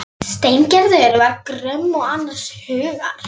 Steingerður var gröm og annars hugar.